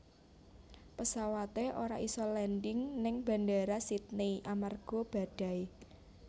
Pesawate ora iso landing ning Bandara Sydney amarga badai